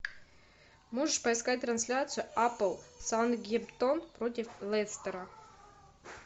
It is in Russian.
можешь поискать трансляцию апл саутгемптон против лестера